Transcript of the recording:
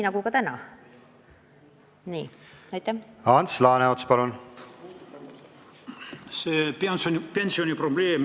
Ants Laaneots, palun!